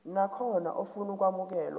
nakhona ofuna ukwamukelwa